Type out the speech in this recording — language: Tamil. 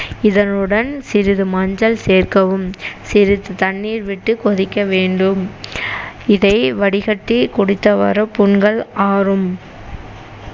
இதனுடன் சிறிது மஞ்சள் சேர்க்கவும் சிறிது தண்ணீர் விட்டு கொதிக்க வேண்டும் இதை வடிகட்டி குடித்தவாறு புண்கள் ஆறும்